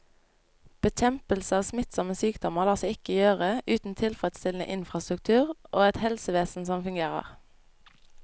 Bekjempelse av smittsomme sykdommer lar seg ikke gjøre uten tilfredsstillende infrastruktur og et helsevesen som fungerer.